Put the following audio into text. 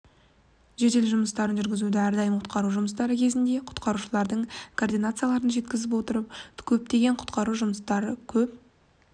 жедел жұмыстарын жүргізуде әрдайым құтқару жұмыстары кезінде құтқарушылардың координацияларын жеткізіп отыру көптеген құтқару жұмыстары көп